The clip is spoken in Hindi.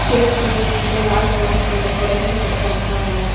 चेयर्स के पीछे लाल कलर से डेकोरेशन करके रखा हुआ है।